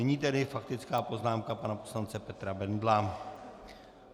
Nyní tedy faktická poznámka pana poslance Petra Bendla.